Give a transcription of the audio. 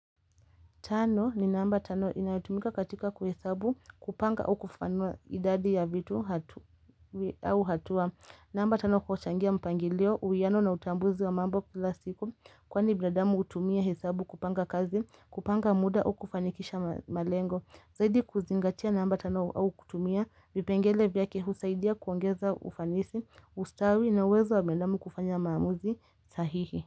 Tano ni namba tano inayotumika katika kuhesabu kupanga au kufafanua idadi ya vitu au hatua. Namba tano kuchangia mpangilio uiyano na utambuzi wa mambo kila siku kwani binadamu hutumia hesabu kupanga kazi kupanga muda au kufanikisha malengo. Zaidi kuzingatia namba tano au kutumia vipengele vyake husaidia kuongeza ufanisi ustawi na uwezo wa binadamu kufanya maamuzi sahihi.